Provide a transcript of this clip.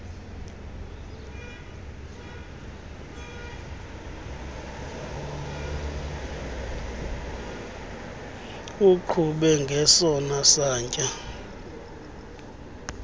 uqhube ngesona satya